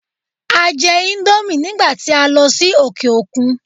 A jẹ íńdómì nígbà tí a lọ sí òkè òkun.